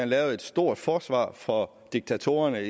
lavede et stort forsvar for diktatorerne